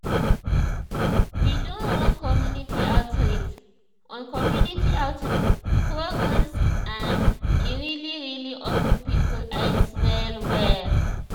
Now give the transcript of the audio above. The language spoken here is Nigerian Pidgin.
we do one community outreach on community outreach programs and e really really open people eyes well well.